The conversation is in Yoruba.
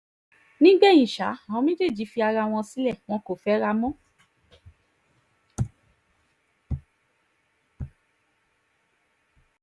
nígbẹ̀yìn ṣá àwọn méjèèjì fi ara wọn sílẹ̀ wọn kò fẹ́ra mọ́